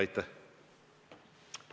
Aitäh!